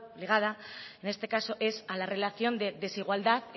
ligada en este caso es a la relación de desigualdad